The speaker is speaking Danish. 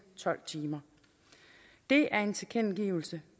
tolv timer det er en tilkendegivelse